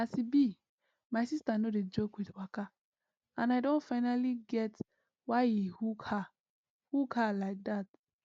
as e be my sister no dey joke with waka and i don finally get why e hook her hook her like dat